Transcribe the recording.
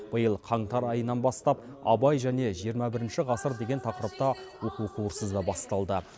биыл қаңтар айынан бастап абай және жиырма бірінші ғасыр деген тақырыпта оқу курсы да басталды